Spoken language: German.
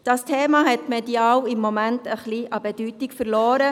Das Thema hat medial im Moment ein wenig an Bedeutung verloren.